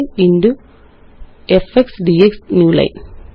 ഇൻടിഎഫ്എക്സ് DX newline